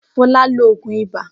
Fọlá lo òògùn ibà?